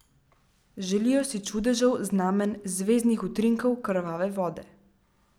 Želijo si čudežev, znamenj, zvezdnih utrinkov, krvave vode.